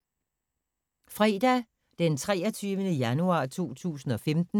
Fredag d. 23. januar 2015